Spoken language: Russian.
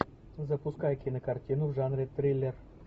запускай кинокартину в жанре триллер